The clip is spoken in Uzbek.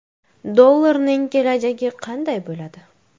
Dollarning kelajagi qanday bo‘ladi?